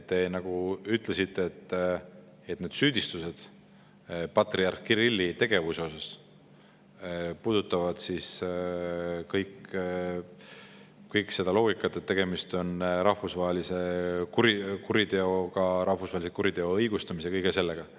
Te ütlesite, et süüdistused patriarh Kirilli tegevuse kohta puudutavad kõik seda loogikat, et tegemist on rahvusvahelise kuriteoga, rahvusvahelise kuriteo õigustamise ja kõige sellega.